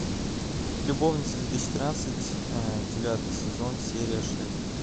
любовницы две тысячи тринадцать девятый сезон серия шесть